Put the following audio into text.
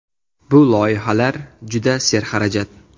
Bu loyihalar juda serxarajat.